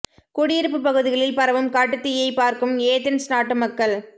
குடியிருப்பு பகுதிகளில் பரவும் காட்டுத் தீயை பார்க்கும் ஏதென்ஸ் நாட்டு மக்கள்